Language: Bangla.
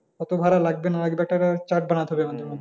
কতো ভাড়া লাগবে না লাগবে একটা chart বানাতে হবে আমাদের মধ্যে,